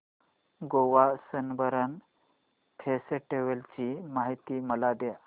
Goa Sunburn festival ची माहिती मला दे